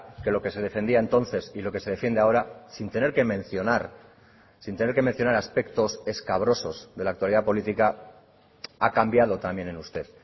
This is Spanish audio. que lo que se defendía entonces y lo que se defiende ahora sin tener que mencionar sin tener que mencionar aspectos escabrosos de la actualidad política ha cambiado también en usted